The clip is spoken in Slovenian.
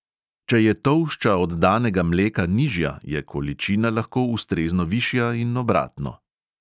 Če je tolšča oddanega mleka nižja, je količina lahko ustrezno višja in obratno.